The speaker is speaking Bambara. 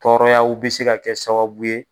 Tɔrɔyaw bi se ka kɛ sababu ye